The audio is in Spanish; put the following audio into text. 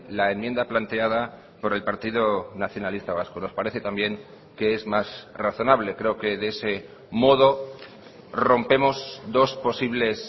la enmienda planteada por el partido nacionalista vasco nos parece también que es más razonable creo que de ese modo rompemos dos posibles